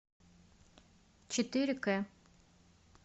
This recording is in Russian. четыре к